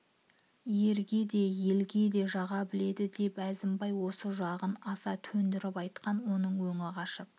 ерге де елге де жаға біледі деп әзімбай осы жағын аса төндіріп айтқан оның өңі қашып